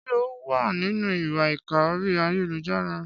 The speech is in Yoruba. Ṣé ó wà nínú ìwà ìkà orí ayélujára?